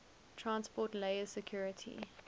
transport layer security